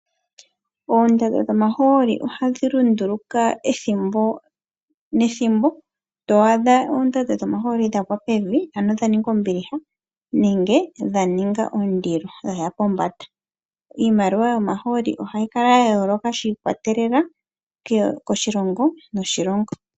Oondando dhomahooli ohadhi lunduluka ethimbo nethimbo, to adha oondando dhomahooli dha gwa pevi, ano dha ninga ombiliha, nenge dha ninga ondilo dha ya pombanda. Iimaliwa yomahooli ohayi kala ya yooloka shiikwatelela koshilongo, noshilongo.